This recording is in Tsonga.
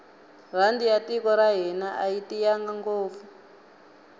rhandi ya tiko ra hina ayi tiyanga ngopfu